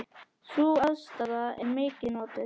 Sú aðstaða er mikið notuð.